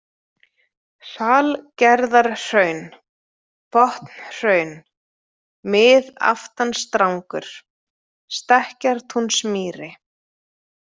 Salgerðarhraun, Botnhraun, Miðaftansdrangur, Stekkjartúnsmýri